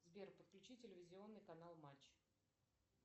сбер подключи телевизионный канал матч